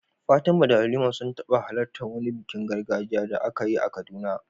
Fatima da Halima sun taɓa halartar wani bikin gargajiya da aka yi a Kaduna.